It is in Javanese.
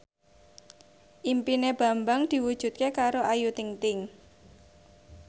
impine Bambang diwujudke karo Ayu Ting ting